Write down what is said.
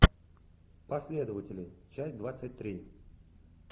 последователи часть двадцать три